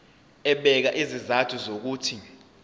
ebeka izizathu zokuthi